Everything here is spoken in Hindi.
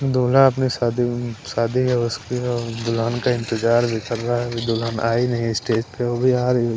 दुला अपनी शादी शादी उस दुलान का इंतजार भी कर रहा है दुलान आई नहीं स्टेज पे वो भी आ रही है।